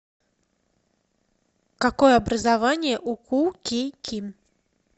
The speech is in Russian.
какое образование у ку кей ким